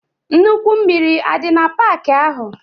Nnukwu mmiri adi na park ahu?